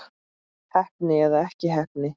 Heppni eða ekki heppni?